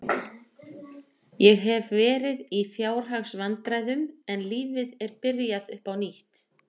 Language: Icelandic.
Ég hef verið í fjárhagsvandræðum en lífið er byrjað upp á nýtt.